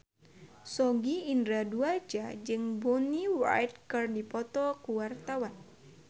Sogi Indra Duaja jeung Bonnie Wright keur dipoto ku wartawan